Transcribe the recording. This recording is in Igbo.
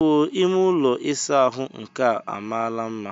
Ewoo! Ime ụlọ ịsa ahụ nke a amaala mma!